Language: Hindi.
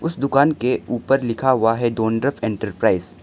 उस दुकान के ऊपर लिखा हुआ है डोनड्रब एंटरप्राइज ।